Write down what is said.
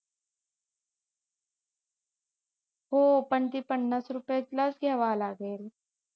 हो पण ती पन्नास रुपयालाच घ्यावी लागेल